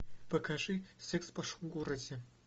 покажи секс в большом городе